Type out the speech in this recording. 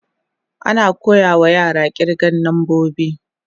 Ana koya ma yara kirgan nambobi.